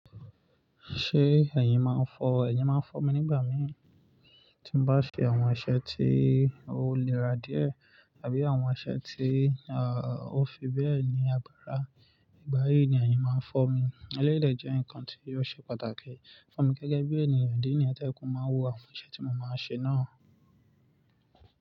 Ṣé ẹ̀yin máa ń fọ́, ẹ̀yin máa ń fọ́ mi nígbà mi tí mo bá ṣe àwọn iṣẹ̀ tí ó léra díẹ̀ àbí àwọn iṣẹ̀ tí ah ó fi bẹ́ẹ̀ ní àgbárá. Nígbà yí ni ẹyin yín máa ń fọ́ mi. Eléyìí dẹ jẹ́ nǹkan tí ò ṣe pàtàkì fún mi gẹ́gẹ́ bí ènìyàn idí nìyẹn to jẹ pe mo máa wò àwọn iṣẹ́ tí mo máa ń ṣe náà.